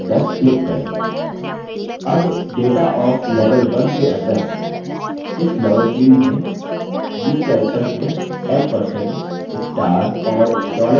अब data of level 1 के अंदर इस level field में new characters में ampersand star और dollar चिह्नों को प्रविष्ट करें